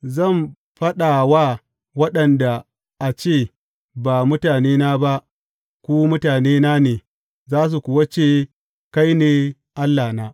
Zan faɗa wa waɗanda a ce Ba mutanena ba, ’ Ku mutanena ne’; za su kuwa ce, Kai ne Allahna.